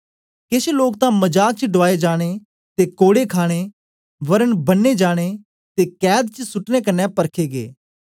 केछ लोक तां मजाक च डुआए जाने ते कोड़े खाणे वरन बन्ने जाने ते कैद च सुटने क्न्ने परखे गै